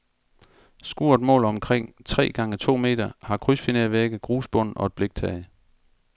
Skuret måler omkring tre gange to meter, har krydsfinervægge, grusbund og et bliktag.